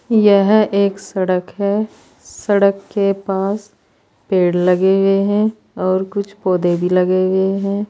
यह एक सड़क है सड़क के पास पेड़ लगे हुए हैं और कुछ पौधे भी लगे हुए हैं।